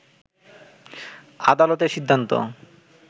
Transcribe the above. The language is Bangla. আদালতের সিন্ধান্ত